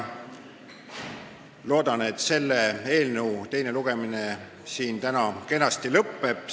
Loodan, et selle eelnõu teine lugemine siin täna kenasti lõppeb.